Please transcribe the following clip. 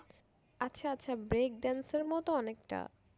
আচ্ছা আচ্ছা break dance এর মত অনেকটা?